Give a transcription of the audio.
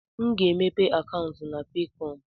A ga m emepe akaụntụ na Peekọm.